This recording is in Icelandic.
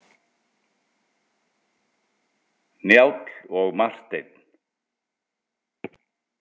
Njáll og Marteinn.